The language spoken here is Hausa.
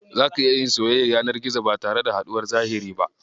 Zaka iya yin soyayyar yanar gizo ba tare da haɗuwar zahiri ba.